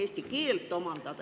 Aitäh, hea kolleeg!